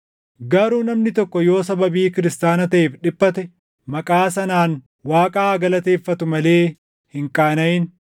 Garuu namni tokko yoo sababii Kiristaana taʼeef dhiphate maqaa sanaan Waaqa haa galateeffatu malee hin qaanaʼin.